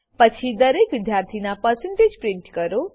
પછી દરેક વિદ્યાર્થી ના પરસેન્ટેજ પ્રિન્ટ કરો